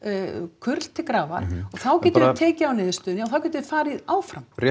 kurl til grafar og þá getum við tekið á niðurstöðunni og þá getum við farið áfram rétt